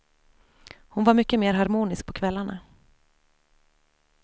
Hon var mycket mer harmonisk på kvällarna.